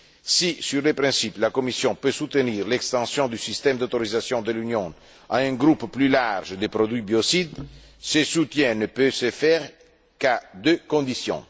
Si, sur le principe, la Commission peut soutenir l'extension du système d'autorisation de l'Union à un groupe plus large de produits biocides, ce soutien ne peut se faire qu'à deux conditions.